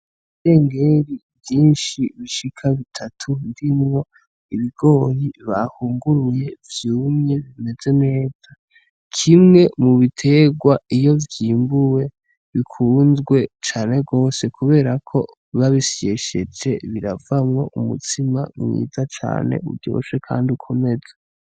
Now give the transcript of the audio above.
Ibidengeri vyinshi bishaka kuri bitatu birimwo ibigori bahunguruye, kimwe mubiterwa iyo vyimbuwe bikunzwe cane gose, kubera ko babisyesheje biravamwo umutsima mwiza cane uryoshe Kandi ukomeza.